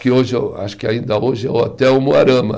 que hoje eu, acho que ainda hoje é o Hotel Moarama.